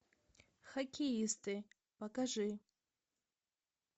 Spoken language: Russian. хоккеисты покажи